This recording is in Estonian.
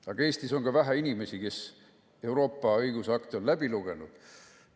Aga Eestis on ka vähe inimesi, kes Euroopa õigusakte on läbi lugenud.